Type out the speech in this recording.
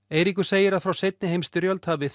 Eiríkur segir að frá seinni heimsstyrjöld hafi